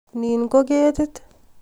Nin ko ketit